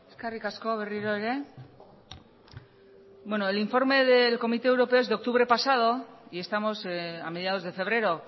eskerrik asko berriro ere bueno el informe del comité europeo es de octubre pasado y estamos a mediados de febrero